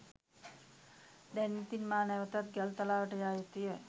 දැන් ඉතින් මා නැවතත් ගල්තලාවට යා යුතුය.